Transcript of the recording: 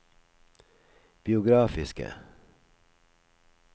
biografiske